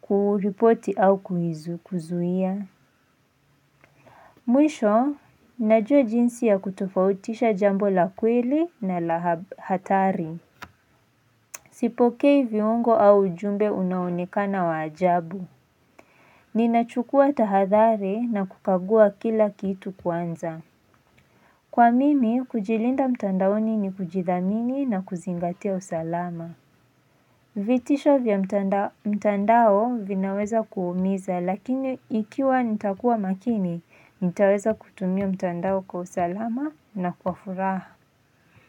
kuripoti au kuizu kuzuia. Mwisho, najua jinsi ya kutofautisha jambo la kweli na la hatari. Sipokei viungo au ujumbe unaonekana wa ajabu. Ninachukua tahathari na kukagua kila kitu kwanza. Kwa mimi, kujilinda mtandaoni ni kujithamini na kuzingatia usalama. Vitisho vya mtandao vinaweza kuumiza lakini ikiwa nitakuwa makini, nitaweza kutumia mtandao kwa usalama na kwa furaha.